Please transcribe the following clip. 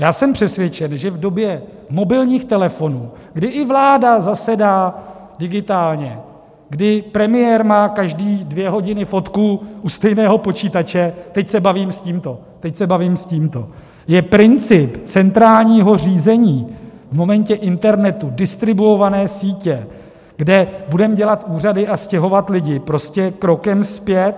Já jsem přesvědčen, že v době mobilních telefonů, kdy i vláda zasedá digitálně, kdy premiér má každé dvě hodiny fotku u stejného počítače - teď se bavím s tímto, teď se bavím s tímto - je princip centrálního řízení v momentě internetu distribuované sítě, kde budeme dělat úřady a stěhovat lidi, prostě krokem zpět.